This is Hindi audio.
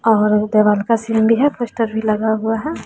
देवाल का सीन भी है पोस्टर भी लगा हुआ है।